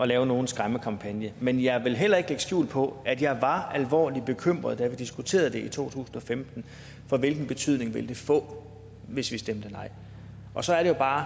lave nogen skræmmekampagne men jeg vil heller ikke lægge skjul på at jeg var alvorligt bekymret da vi diskuterede det i to tusind og femten for hvilken betydning ville det få hvis vi stemte nej så er det bare